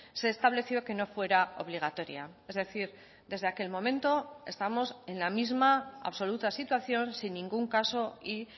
se estableció que no fuera obligatoria es decir desde aquel momento estamos en la misma absoluta situación sin ningún caso y